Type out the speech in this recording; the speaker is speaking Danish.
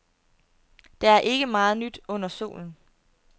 Der er ikke meget nyt under solen.